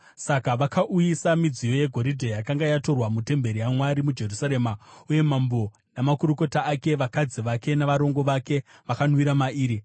Saka vakauyisa midziyo yegoridhe yakanga yatorwa mutemberi yaMwari muJerusarema, uye mambo namakurukota ake, vakadzi vake navarongo vake vakanwira mairi.